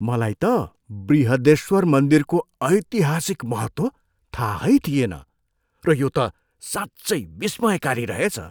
मलाई त बृहदेश्वर मन्दिरको ऐतिहासिक महत्त्व थाहै थिएन र यो त साँच्चै विस्मयकारी रहेछ।